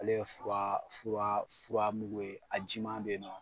Ale ye fura fura fura mugu ye a jiman bɛ ye nɔ.